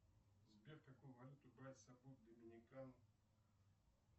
сбер какую валюту брать с собой в доминикану